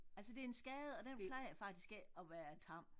Altså det en skade og den plejer faktisk ikke at være tam